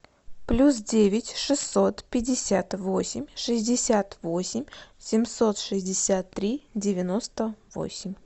плюс девять шестьсот пятьдесят восемь шестьдесят восемь семьсот шестьдесят три девяносто восемь